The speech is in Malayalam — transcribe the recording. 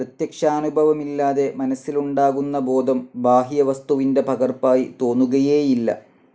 പ്രത്യക്ഷാനുഭവമില്ലാതെ, മനസിലുണ്ടാകുന്ന ബോധം ബാഹ്യവസ്തുവിൻ്റെ പകർപ്പായി തോന്നുകയേയില്ല.